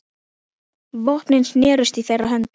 Vopnin snerust í þeirra höndum.